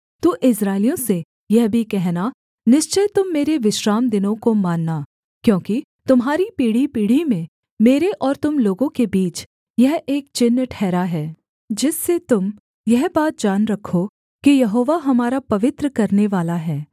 तू इस्राएलियों से यह भी कहना निश्चय तुम मेरे विश्रामदिनों को मानना क्योंकि तुम्हारी पीढ़ीपीढ़ी में मेरे और तुम लोगों के बीच यह एक चिन्ह ठहरा है जिससे तुम यह बात जान रखो कि यहोवा हमारा पवित्र करनेवाला है